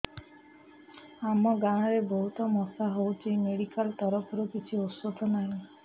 ଆମ ଗାଁ ରେ ବହୁତ ମଶା ହଉଚି ମେଡିକାଲ ତରଫରୁ କିଛି ଔଷଧ ନାହିଁ